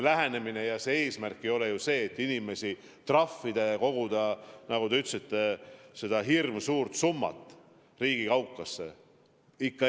Eesmärk ei ole ju inimesi trahvida ja koguda neid, nagu te ütlesite, hirmsuuri trahvisummasid riigi kaukasse.